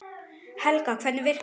Helga: Hvernig virkar það?